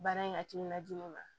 Baara in hakilina jugu ma